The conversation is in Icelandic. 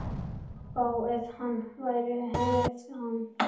Vá, ef hann væri hrífan!